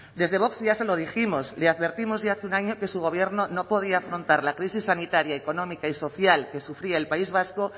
desde vox ya se lo dijimos le advertimos ya hace un año que su gobierno no podía afrontar la crisis sanitaria económica y social que sufría el país vasco